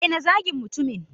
daina zagin mutumin!